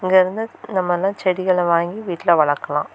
இது வந்து இந்த மாதிலா செடிகள வாங்கி வீட்லெ வளக்கலா.